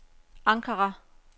Ankara